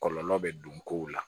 Kɔlɔlɔ bɛ don kow la